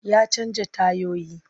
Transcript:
Ya canja tayoyi.